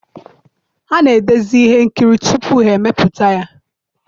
ha na-edezi ihe nkiri tupu ha emepụta ya.